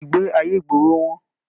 Ìgbé ayé ìgboro wọn.